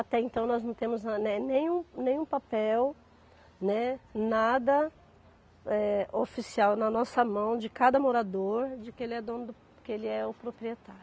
Até então nós não temos ah, né, nenhum nenhum papel, né, nada eh, oficial na nossa mão de cada morador de que ele é dono do, que ele é o proprietário.